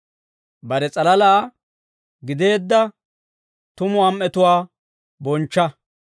Bare s'alalaa gideedda tumu am"etuwaa bonchcha.